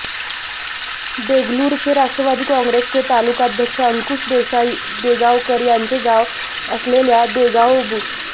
देगलूरचे राष्ट्रवादी काँग्रेसचे तालुकाध्यक्ष अंकुश देसाई देगावकर यांचे गाव असलेल्या देगाव बु